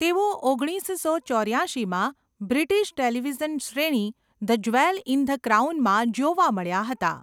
તેઓ ઓગણીસસો ચોર્યાશીમાં બ્રિટિશ ટેલિવિઝન શ્રેણી ધ જ્વેલ ઇન ધ ક્રાઉનમાં જોવા મળ્યા હતા.